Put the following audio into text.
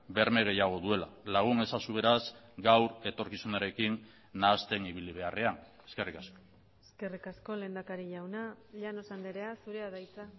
berme gehiago duela lagun ezazu beraz gaur etorkizunarekin nahasten ibili beharrean eskerrik asko eskerrik asko lehendakari jauna llanos andrea zurea da hitza